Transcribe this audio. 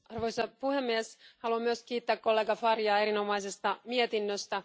Arvoisa puhemies, haluan myös kiittää kollega Faria erinomaisesta mietinnöstä.